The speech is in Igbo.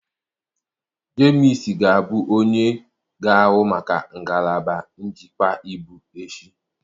Jemus ga-abụ onye ga-ahụ maka ngalaba njikwa ibu echi.